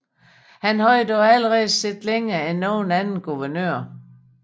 Han havde dog allerede siddet længere end nogen anden guvernør